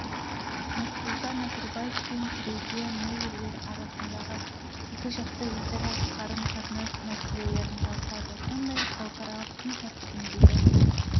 нұрсұлтан назарбаев пен тереза мэй елдер арасындағы екіжақты өзара қарым-қатынас мәселелерін талқылады сондай-ақ халықаралық күн тәртібіндегі